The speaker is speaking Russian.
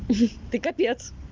ты капец